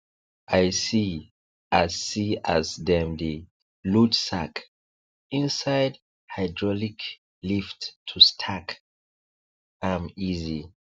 i see as see as dem dey load sack inside hydraulic lift to stack am easy